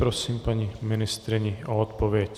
Prosím paní ministryni o odpověď.